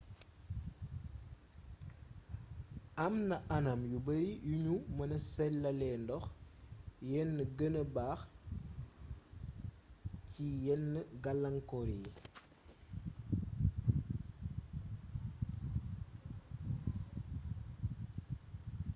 am na anam yu bare yu nu mëna selalee ndox yen gëna baax ci yenn galaangkoor yi